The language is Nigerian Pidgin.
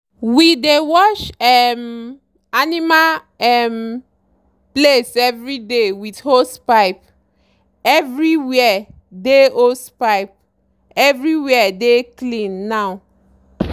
we dey wash um animal um place everyday with hosepipe—everywhere dey hosepipe—everywhere dey clean now.